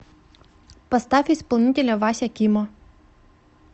поставь исполнителя вася кимо